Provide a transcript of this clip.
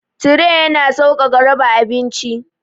Tire yana sauƙaƙa raba abinci.